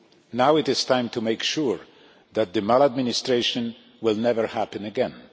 Now it is time to make sure that such maladministration will never happen again.